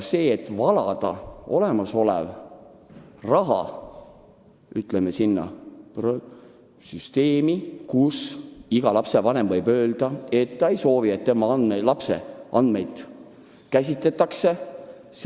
Milleks valada olemasolev raha süsteemi, milles olevaid andmeid võib-olla ei saagi kasutada – iga lapsevanem võib ju öelda, et ta ei soovi, et tema lapse andmeid kasutatakse.